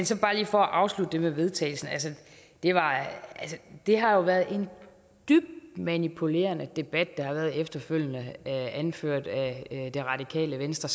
så bare lige for at afslutte det med vedtagelsen altså det har jo været en dybt manipulerende debat der har været efterfølgende anført af det radikale venstre